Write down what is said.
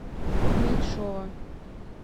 меньшова